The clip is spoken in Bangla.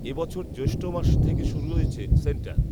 এ বছর জ্যৈষ্ঠ মাস থেকে শুরু হয়েছে সেন্টার